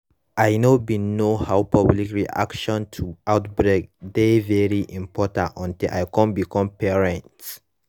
i know bin know how public reaction to outbreak dey very important until i come become parents